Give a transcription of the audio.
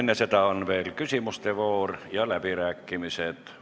Enne seda on veel küsimuste voor ja läbirääkimised.